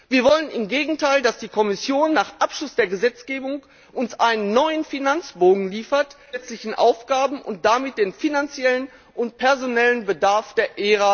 Wir wollen im Gegenteil, dass die Kommission nach Abschluss der Gesetzgebung uns einen neuen Finanzbogen liefert, der alle zusätzlichen Aufgaben und damit den finanziellen und personellen Bedarf der